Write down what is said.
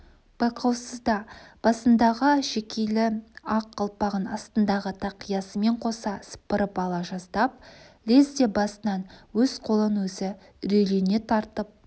байқаусызда басындағы әшекейлі ақ қалпағын астындағы тақиясымен қоса сыпырып ала жаздап лезде басынан өз қолын өзі үрейлене тартып